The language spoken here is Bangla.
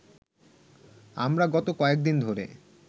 আমরা গত কয়েকদিন ধরে